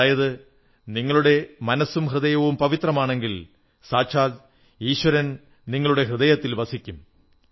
അതായത് നിങ്ങളുടെ മനസ്സും ഹൃദയവും പവിത്രമാണെങ്കിൽ സാക്ഷാൽ ഈശ്വരൻ നിങ്ങളുടെ ഹൃദയത്തിൽ വസിക്കും